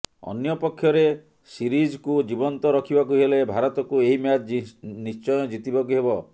ଅନ୍ୟପକ୍ଷରେ ସିରିଜ୍କୁ ଜୀବନ୍ତ ରଖିବାକୁ ହେଲେ ଭାରତକୁ ଏହି ମ୍ୟାଚ୍ ନିଶ୍ଚୟ ଜିତିବାକୁ ହେବ